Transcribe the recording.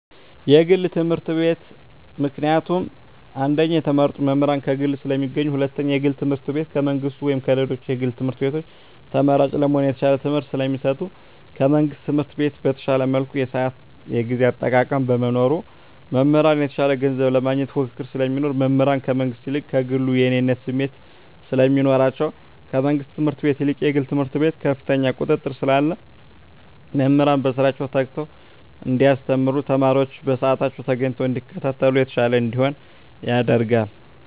የግል ትምህርት ቤት። ምክንያቱም አንደኛ የተመረጡ መምህራን ከግል ስለሚገኙ ሁለተኛ የግል ትምህርት ቤቱ ከመንግስት ወይም ከሌሎች የግል ትምህርት ቤቶች ተመራጭ ለመሆን የተሻለ ትምህርት ስለሚሰጡ። ከመንግስት ትምህርት ቤት በተሻለ መልኩ የስአት የጊዜ አጠቃቀም በመኖሩ። መምህራን የተሻለ ገንዘብ ለማግኘት ፉክክር ስለሚኖር። መምህራን ከመንግስት ይልቅ ከግሉ የእኔነት ስሜት ስለሚኖራቸዉ። ከመንግስት ትምህርት ቤት ይልቅ የግል ትምህርት ቤት ከፍተኛ ቁጥጥር ስላለ መምህራን በስራቸዉ ተግተዉ እንዲያስተምሩ ተማሪወችም በስአታቸዉ ተገኝተዉ እንዲከታተሉ የተሻለ እንዲሆን ያደርጋል።